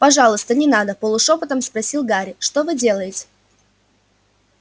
пожалуйста не надо полушёпотом спросил гарри что вы делаете